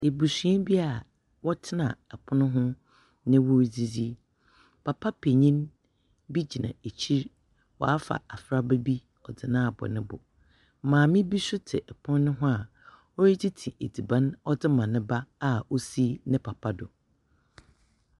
Ebusua bi a wɔtsena pon ho na woridzidzi, papa panyin bi gyina ekyir, ɔafa abɔfra bi ɔdze no abɔ ne bo. Maame bi nso tse pon ho a oritsitsi edziban dze ma ne ba a osi ne papa do.